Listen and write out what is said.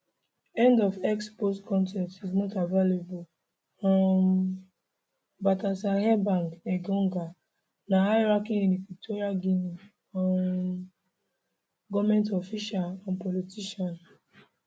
end of x post con ten t is not available um baltasar ebang engonga na highranking equatorial guinean um goment official and politician